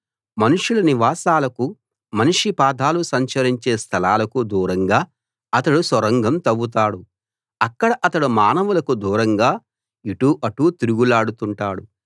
మనుషుల నివాసాలకు మనిషి పాదాలు సంచరించే స్థలాలకు దూరంగా అతడు సొరంగం తవ్వుతాడు అక్కడ అతడు మానవులకు దూరంగా ఇటు అటు తిరుగులాడుతుంటాడు